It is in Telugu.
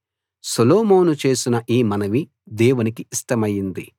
సొలొమోను చేసిన ఈ మనవి దేవునికి ఇష్టమైంది